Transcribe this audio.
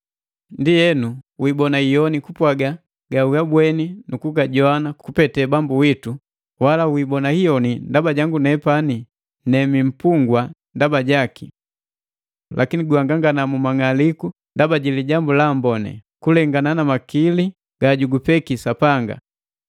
Ndienu, wiibona iyoni kupwaga gawagabweni nu kujoana kupete Bambu witu, wala wiibona iyona ndaba jangu jojubii mpungwa ndaba jaki. Lakini guhangangana mu mang'aliku ndaba ji Lijambu la Amboni, kulengana makili gagujupeki Sapanga.